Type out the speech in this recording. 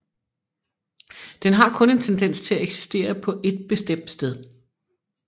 Den har kun en tendens til at eksistere på et bestemt sted